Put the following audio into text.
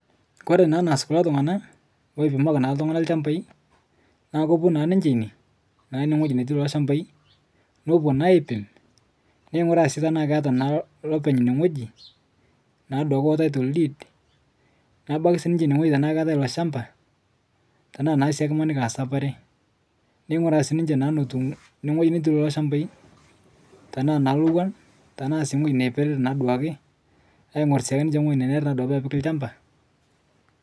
Kore naa neas kulo ltungana loipimaki naa ltungana lshambai naa kopuo naa ninche ine naa ine netii lolo lshambai nopuo naa aipim neinguraa sii tana lopeny ine ng'oji taitol diid nebaki sii niche nie tana ketae ilo lshamba tana imaniki sapare neing'ura sii ninche netuu nie netii lolo lshambai tanaa naa lowuan tanaa sii ng'oji neiperere naaduake aing'or naake ninche ng'oji nenere duake pepiki lshamba.